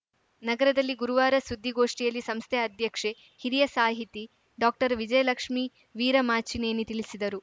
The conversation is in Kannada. ನಗರದಲ್ಲಿ ಗುರುವಾರ ಸುದ್ದಿಗೋಷ್ಠಿಯಲ್ಲಿ ಸಂಸ್ಥೆ ಅಧ್ಯಕ್ಷೆ ಹಿರಿಯ ಸಾಹಿತಿ ಡಾಕ್ಟರ್ವಿಜಯಲಕ್ಷ್ಮೀ ವೀರಮಾಚಿನೇನಿ ತಿಳಿಸಿದರು